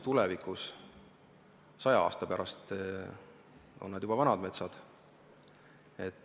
Tulevikus, saja aasta pärast on nad juba vanad metsad.